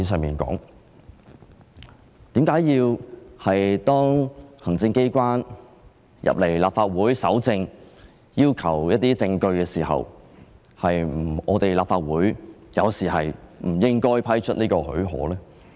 為何當行政機關進入立法會搜證時，立法會有時候不應批出許可？